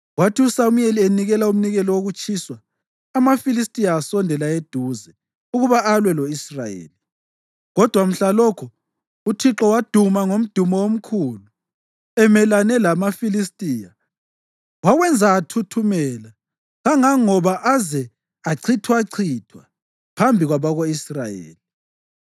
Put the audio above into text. Kwathi uSamuyeli enikela umnikelo wokutshiswa, amaFilistiya asondela eduze ukuba alwe lo-Israyeli. Kodwa mhlalokho uThixo waduma ngomdumo omkhulu emelane lamaFilistiya wawenza athuthumela kangangoba aze achithwachithwa phambi kwabako-Israyeli.